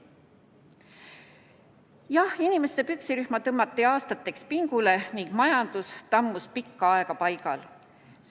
Jah, inimeste püksirihm tõmmati aastateks pingule ning majandus tammus pikka aega paigal.